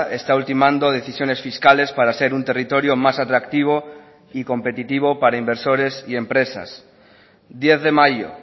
está ultimando decisiones fiscales para ser un territorio más atractivo y competitivo para inversores y empresas diez de mayo